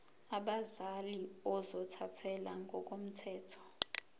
abazali ozothathele ngokomthetho